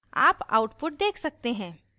आप output देख सकते हैं